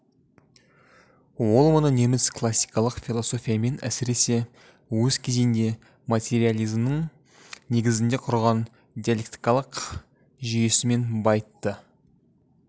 ол мұны неміс классикалық философиясымен әсіресе өз кезенде материализмінің негізіне құрған диалектикалық жүйесімен байытты